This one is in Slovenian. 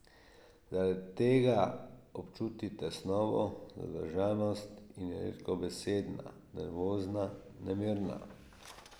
Zaradi tega občuti tesnobo, zadržanost in je redkobesedna, nervozna, nemirna.